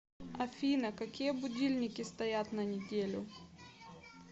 афина какие будильники стоят на неделю